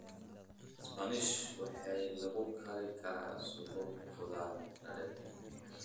Spinachi waxaa lagu kari karaa suugo khudradeed.